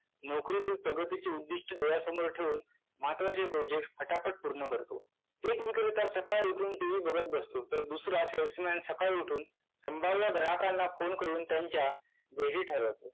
नोकरीतील प्रगतीचे उद्दिष्ट्य डोळ्यासमोर ठेऊन महत्त्वाचे projects फटाफट पूर्ण करतो. एक विक्रेता सकाळी उठून tv बघत बसतो तर दुसरा salesman सकाळी उठून संभाव्य ग्राहकाला फोन करून त्यांच्या वेळीण.